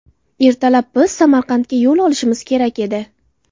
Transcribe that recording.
Ertalab biz Samarqandga yo‘l olishimiz kerak edi.